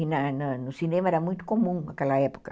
Na na no cinema era muito comum naquela época.